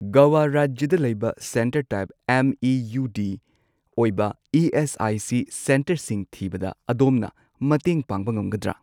ꯒꯣꯋꯥ ꯔꯥꯖ꯭ꯌꯗ ꯂꯩꯕ centre type M E U D ꯑꯣꯏꯕ ꯏ.ꯑꯦꯁ.ꯑꯥꯏ.ꯁꯤ. ꯁꯦꯟꯇꯔꯁꯤꯡ ꯊꯤꯕꯗ ꯑꯗꯣꯝꯅ ꯃꯇꯦꯡ ꯄꯥꯡꯕ ꯉꯝꯒꯗ꯭ꯔꯥ?